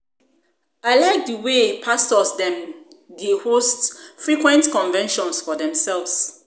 I like the um wey pastors dem dey um host frequent convention for their selves.